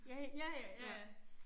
Ja ja ja ja ja